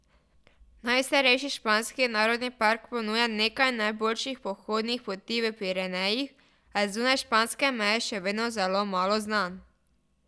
Najstarejši španski narodni park ponuja nekaj najboljših pohodnih poti v Pirenejih, a je zunaj španske meje še vedno zelo malo znan.